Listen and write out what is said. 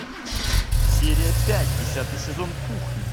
серия пять десятый сезон кухня